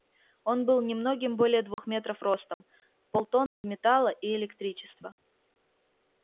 он был немногим более двух метров ростом полтонны металла и электричества